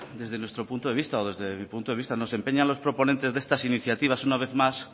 desde nuestro punto de vista o desde mi punto de vista no se empeñan los proponentes de estas iniciativas una vez más